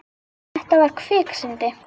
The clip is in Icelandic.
Þetta var kviksyndi.